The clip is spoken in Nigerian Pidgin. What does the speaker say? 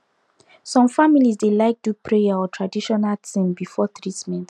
some families dey like do prayer or traditional thing before treatment